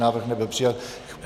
Návrh nebyl přijat.